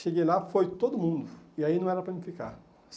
Cheguei lá, foi todo mundo, e aí não era para mim ficar.